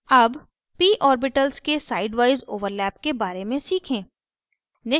अब p orbitals के sidewise overlap के बारे में सीखें